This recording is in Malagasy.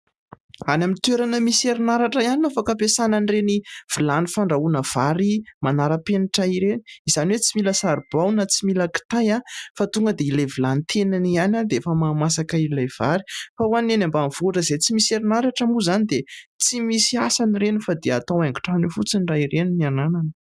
Any amin'ny toerana misy herinaratra ihany no afaka ampiasana ireny vilany manara-penitra ireny. Izany hoe tsy misy saribao, na tsy mila kitay fa ilay vilany tenany ihany dia efa mahamasaka ilay vary. Fa ho an'ny any ambanivohitra izay tsy misy herinaratra moa izany dia tsy misy asany ireny fa dia atao haingon-trano eo fotsiny raha ireny no ananana.